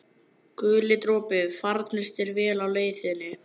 Guli dropi, farnist þér vel á leið þinni.